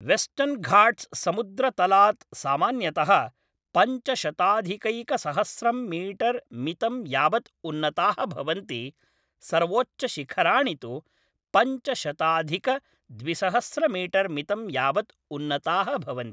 वेस्टर्न्घाट्स् समुद्रतलात् सामान्यतः पञ्चशताधिकैकसहस्रं मीटर् मितं यावत् उन्नताः भवन्ति, सर्वोच्चशिखराणि तु पञ्चशताधिकद्विसहस्रमीटर् मितं यावत् उन्नताः भवन्ति।